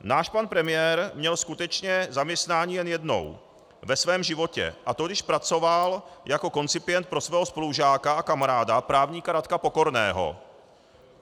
Náš pan premiér měl skutečně zaměstnání jen jednou ve svém životě, a to když pracoval jako koncipient pro svého spolužáka a kamaráda právníka Radka Pokorného.